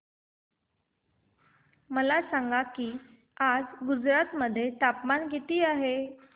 मला सांगा की आज गुजरात मध्ये तापमान किता आहे